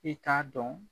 I t'a dɔn